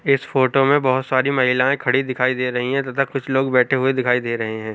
इस फोटो में बहुत सारी महिलाए खड़ी दिखाई दे रही है तथा कुछ लोग बेठे हुए दिखाई दे रहे है।